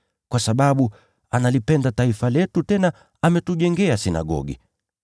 kwa sababu analipenda taifa letu tena ametujengea sinagogi.”